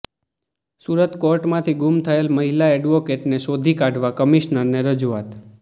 સુરત કોર્ટમાંથી ગુમ થયેલ મહિલા એડવોકેટને શોધી કાઢવા કમિશનરને રજૂઆત